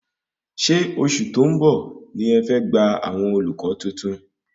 Ṣé oṣù tó ń bọ̀ ní ẹ fẹ́ gbà àwọn olùkọ́ tuntun?